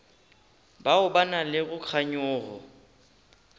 bao ba nago le kganyogo